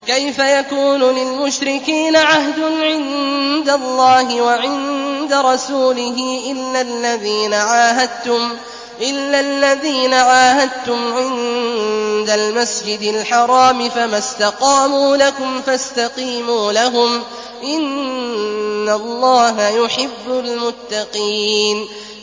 كَيْفَ يَكُونُ لِلْمُشْرِكِينَ عَهْدٌ عِندَ اللَّهِ وَعِندَ رَسُولِهِ إِلَّا الَّذِينَ عَاهَدتُّمْ عِندَ الْمَسْجِدِ الْحَرَامِ ۖ فَمَا اسْتَقَامُوا لَكُمْ فَاسْتَقِيمُوا لَهُمْ ۚ إِنَّ اللَّهَ يُحِبُّ الْمُتَّقِينَ